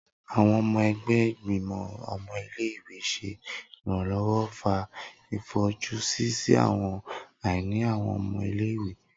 Awọn ọmọ ẹgbẹ Igbimọ ọmọ ile-iwe ṣe iranlọwọ fa ifojusi si awọn aini awọn ọmọ ile-iwe.